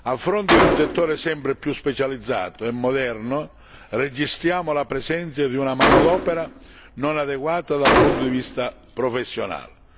A fronte di un settore sempre più specializzato e moderno, registriamo la presenza di una manodopera non adeguata dal punto di vista professionale.